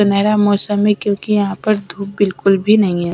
सुनहरा मौसम है क्योंकि यहाँ पर धूप बिल्कुल भी नहीं हैं।